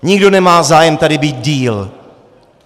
Nikdo nemá zájem tady být déle.